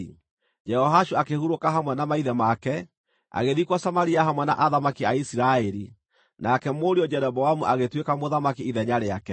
Jehoashu akĩhurũka hamwe na maithe make, agĩthikwo Samaria hamwe na athamaki a Isiraeli. Nake mũriũ Jeroboamu agĩtuĩka mũthamaki ithenya rĩake.